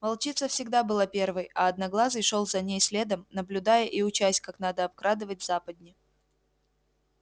волчица всегда была первой а одноглазый шёл за ней следом наблюдая и учась как надо обкрадывать западни